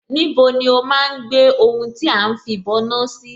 Níbo ni ó máa ń gbé ohun tí à ń fìbọná sí?